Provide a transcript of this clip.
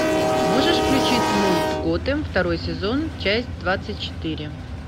можешь включить мульт готэм второй сезон часть двадцать четыре